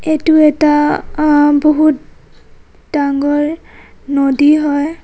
এইটো এটা অহ বহুত ডাঙৰ নদী হয়.